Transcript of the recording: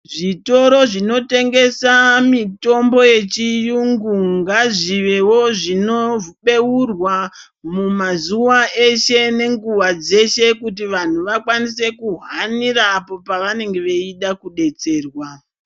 Zvitoro zvinotengesa mitombo yechiyungu ngazvivewo zvinobeurwa mumazuva eshe nenguva dzeshe kuti vantu vakwanise kuhanira apo pavanenge vaida kudetserwa.